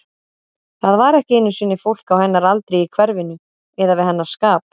Það var ekki einu sinni fólk á hennar aldri í hverfinu, eða við hennar skap.